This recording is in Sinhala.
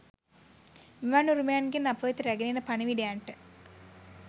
මෙවන් උරුමයන්ගෙන් අපවෙත රැගෙන එන පණිවිඩයන්ට